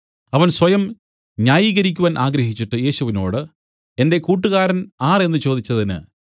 അവൻ സ്വയം ന്യായീകരിക്കുവാൻ ആഗ്രഹിച്ചിട്ട് യേശുവിനോടു എന്റെ കൂട്ടുകാരൻ ആർ എന്നു ചോദിച്ചതിന്